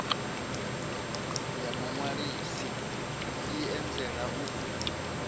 ya muṅwalisi i anzela u